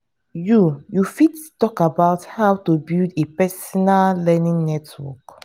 you you fit talk about how to build a personal learning network.